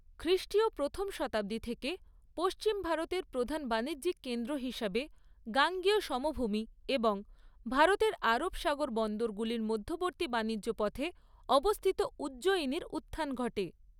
খ্রিষ্টীয় প্রথম শতাব্দী থেকে পশ্চিম ভারতের প্রধান বাণিজ্যিক কেন্দ্র হিসাবে গাঙ্গেয় সমভূমি এবং ভারতের আরব সাগর বন্দরগুলির মধ্যবর্তী বাণিজ্য পথে অবস্থিত উজ্জয়িনীর উত্থান ঘটে।